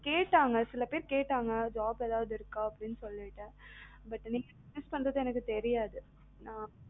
கேட்டாங்க சில பேர் கேட்டாங்க job ஏதாவது இருக்கா அப்டீன்னு சொலீட்டு but நீங்க business பண்றது எனக்கு தெரியாது.